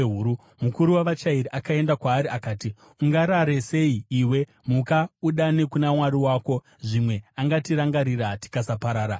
Mukuru wavachairi akaenda kwaari akati, “Ungarare sei iwe? Muka udane kuna mwari wako! Zvimwe angatirangarira tikasaparara.”